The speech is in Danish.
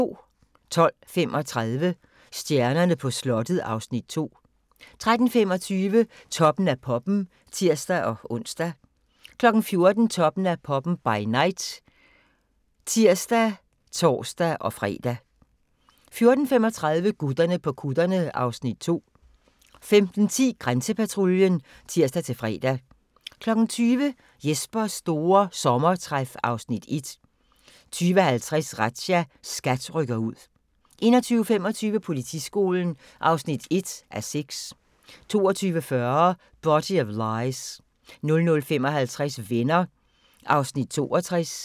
12:35: Stjernerne på slottet (Afs. 2) 13:25: Toppen af poppen (tir-ons) 14:00: Toppen af poppen – by night (tir og tor-fre) 14:35: Gutterne på kutterne (Afs. 2) 15:10: Grænsepatruljen (tir-fre) 20:00: Jespers store sommertræf (Afs. 1) 20:50: Razzia – SKAT rykker ud 21:25: Politiskolen (1:6) 22:40: Body of Lies 00:55: Venner (62:235)